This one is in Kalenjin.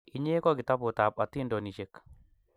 inye ko kitabut ab atindonishek